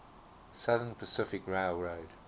southern pacific railroad